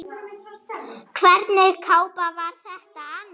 Hvernig kápa var þetta annars?